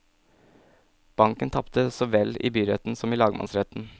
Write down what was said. Banken tapte så vel i byretten som i lagmannsretten.